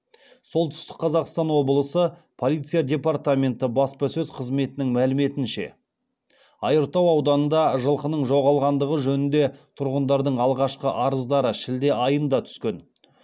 солтүстік қазақстан облысы полиция департаменті баспасөз қызметінің мәліметінше айыртау ауданында жылқының жоғалғандығы жөнінде тұрғындардың алғашқы арыздары шілде айында түскен